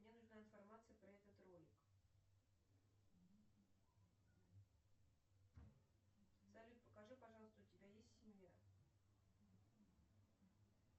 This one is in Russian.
мне нужна информация про этот ролик салют покажи пожалуйста у тебя есть семья